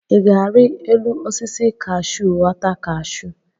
I ga-ari elu osisi kahsụ ghọta kahsụ?